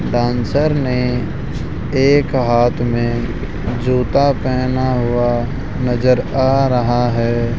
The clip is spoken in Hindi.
डांसर ने एक हाथ में जूता पहना हुआ नजर आ रहा है।